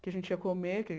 que a gente ia comer. Que